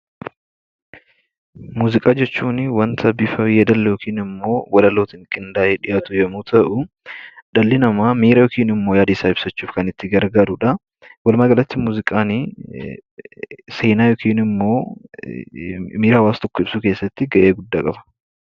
Muuziqaa jechuun wanta walaaloo fi yeedaloon qindaa'ee dhiyaatu yommuu ta'u, dhalli namaa miira yookiin yaada isaaa ibsachuuf kan itti gargaaramudha. Walumaa galaitt, muuziqaan seenaa yookiin miira hawaasa tokkoo ibsuu keessatti gahee guddaa qaba.